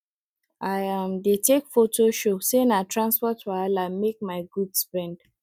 i um dey take photo show say na transport wahala make my goods bend